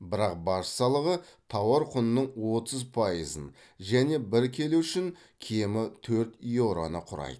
бірақ баж салығы тауар құнының отыз пайызын және бір келі үшін кемі төрт еуроны құрайды